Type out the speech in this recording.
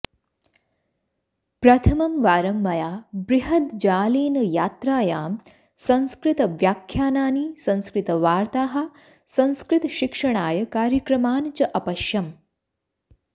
प्रथमं वारं मया बृहद्जालेन यात्रायां संस्कृतव्याख्यानानि संस्कृतवार्ताः संस्कृतशिक्षणाय कार्यक्रमान् च अपश्यम्